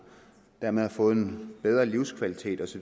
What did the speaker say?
og dermed har fået en bedre livskvalitet